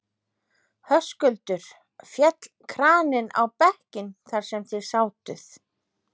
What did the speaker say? Höskuldur: Féll kraninn á bekkinn þar sem þið sátuð?